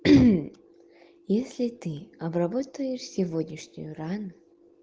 если ты обработаешь сегодняшнюю рану